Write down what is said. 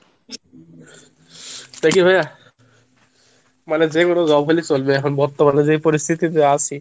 দেখি ভাইয়া মানে যে কোনো job পেলেই চলবে এখন বর্তমানে যে পরিস্থিতিতে আসি।